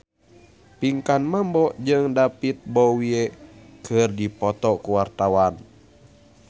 Pinkan Mambo jeung David Bowie keur dipoto ku wartawan